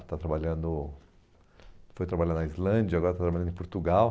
Está trabalhando... Foi trabalhar na Islândia, agora está trabalhando em Portugal.